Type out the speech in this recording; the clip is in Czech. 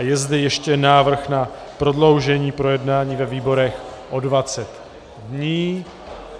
A je zde ještě návrh na prodloužení projednání ve výborech o 20 dní.